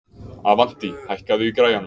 Avantí, hækkaðu í græjunum.